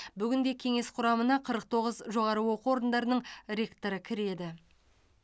бүгінде кеңес құрамына қырық тоғыз жоғары оқу орындарының ректоры кіреді